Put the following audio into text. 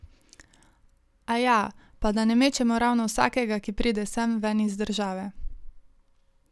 Aja, pa da ne mečemo ravno vsakega, ki pride sem, ven iz države.